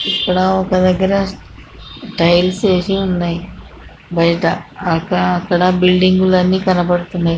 ఇక్కడ ఒక దగ్గర టైల్స్ వేసి సన్నాయి బయట అక్కడ బిల్డింగ్ లు అన్నీ కనబడుతున్నాయి.